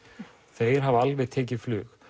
þeir hafa alveg tekið flug